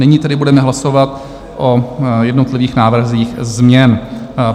Nyní tedy budeme hlasovat o jednotlivých návrzích změn.